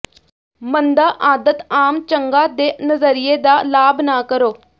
ਮੰਦਾ ਆਦਤ ਆਮ ਚੰਗਾ ਦੇ ਨਜ਼ਰੀਏ ਦਾ ਲਾਭ ਨਾ ਕਰੋ